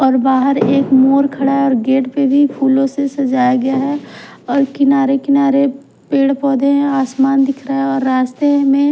और बाहर एक मोर खड़ा और गेट पे भी फूलों से सजाया गया है और किनारे किनारे पेड़ पौधे हैं आसमान दिख रहा है और रास्ते में--